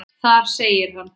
Þar segir hann